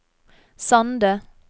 Sande